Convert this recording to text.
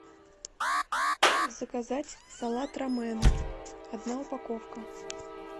заказать салат ромэн одна упаковка